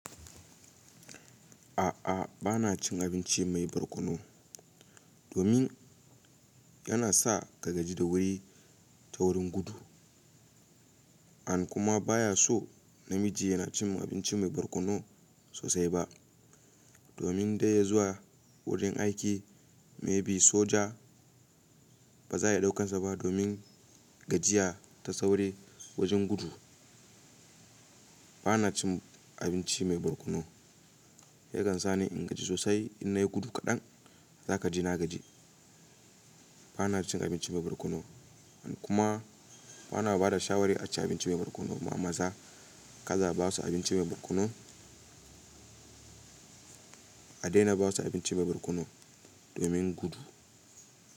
A'a, bana cin abinci mai barkono domin yana sa ka gaji da wuri ta wurin gudu. And kuma bayaso namiji yanacin abinci mai barkono sosai ba. Domin dai zuwa wurin aiki, maybe soja bazaya ɗaukan saba domin gajiya ta sauri wajen gudu. Bana cin abinci mai barkono. Yakan sani ingaji sosai in nayi gudu kaɗan, zakaji na gaji. Banacin abinci mai barkono. Han kuma ana bada shawari aci abinci mai barkono ma maza. Kada abasu abinci mai barkono. A daina basu abinci mai barkono domin gudu.